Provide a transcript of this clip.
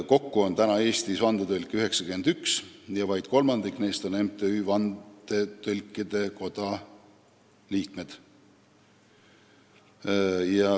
Kokku on Eestis 91 vandetõlki ja vaid kolmandik neist on MTÜ Vandetõlkide Koda liikmed.